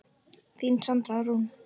Þín Sandra Rún.